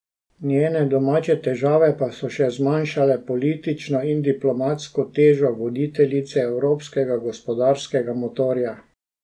Njene domače težave pa so še zmanjšale politično in diplomatsko težo voditeljice evropskega gospodarskega motorja.